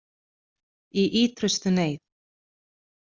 Í ýtrustu neyð